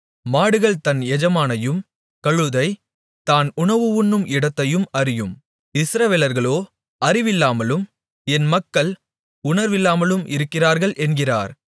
மாடு தன் எஜமானையும் கழுதை தான் உணவு உண்ணும் இடத்தையும் அறியும் இஸ்ரவேலர்களோ அறிவில்லாமலும் என் மக்கள் உணர்வில்லாமலும் இருக்கிறார்கள் என்கிறார்